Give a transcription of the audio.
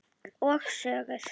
Og sögur.